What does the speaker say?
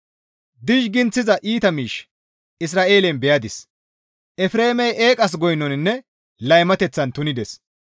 Dizhiginthiza iita miish Isra7eelen beyadis; Efreemey eeqas goynoninne laymateththan tunides.